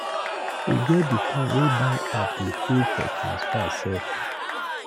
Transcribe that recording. E get di time wey bank app dey fail for transfer sef.